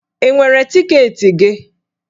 Ị nwere tiketi gị?